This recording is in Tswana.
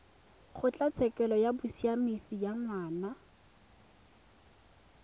kgotlatshekelo ya bosiamisi ya ngwana